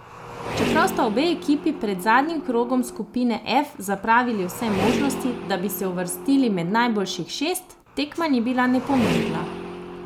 Čeprav sta obe ekipi pred zadnjim krogom skupine F zapravili vse možnosti, da bi se uvrstili med najboljših šest, tekma ni bila nepomembna.